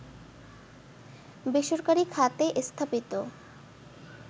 বেসরকারি খাতে স্থাপিত